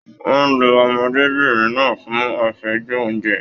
Wọn lu ọmọdébinrin náà fún afẹju ounjẹ.